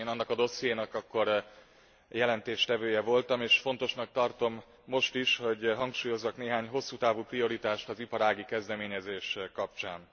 Én annak a dossziénak akkor jelentéstevője voltam, és fontosnak tartom most is, hogy hangsúlyozzak néhány hosszú távú prioritást az iparági kezdeményezések kapcsán.